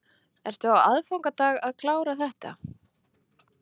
Ertu á aðfangadag að klára þetta?